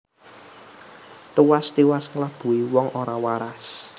Tuwas tiwas nglabuhi wong ora waras